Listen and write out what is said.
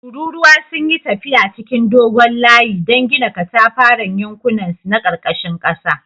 Tururuwa sun yi tafiya cikin dogon layi don gina katafaren yankunansu na karkashin ƙasa